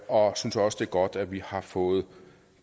synes også det er godt vi har fået